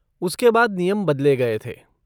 उसके बाद नियम बदले गए थे।